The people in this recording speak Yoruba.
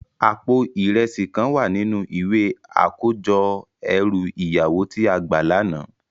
Àpó irèsi kán wá ninú iwé àkójò èrú iyàwó ti á gbá làná